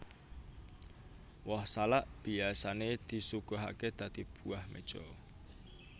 Woh salak biyasané disuguhaké dadi buah meja